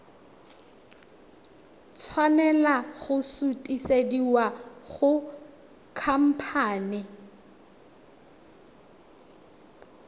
tshwanela go sutisediwa go khamphane